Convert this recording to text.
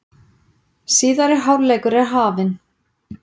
Síðari hálfleikur er hafinn